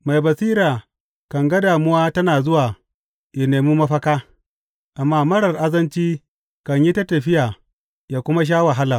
Mai basira kan ga damuwa tana zuwa yă nemi mafaka, amma marar azanci kan yi ta tafiya yă kuma sha wahala.